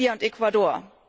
Namibia und Ecuador.